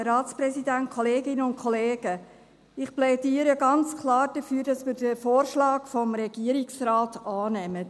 Ich plädiere ganz klar dafür, dass wir den Vorschlag des Regierungsrates annehmen.